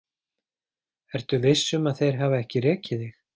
Ertu viss um að þeir hafa ekki rekið þig?